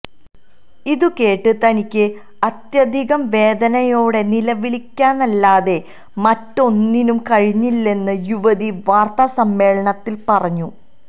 ഇതുകേട്ട് തനിക്ക് അത്യധികം വേദനയോടെ നിലവിളിക്കാനല്ലാതെ മറ്റൊന്നിനും കഴിഞ്ഞില്ലെന്നും യുവതി വാര്ത്താസമ്മേളനത്തില് പറഞ്ഞു